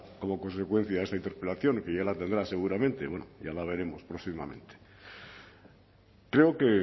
como consecuencia de esta interpelación y que ya la tendrá seguramente bueno ya la veremos próximamente creo que